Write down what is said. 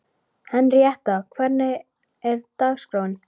Henríetta, hvernig er dagskráin?